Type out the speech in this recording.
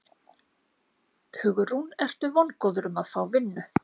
Hugrún: Ertu vongóður um að fá vinnu?